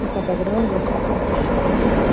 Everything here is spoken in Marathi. एका दगडावर बसून पण दृश्य बघता.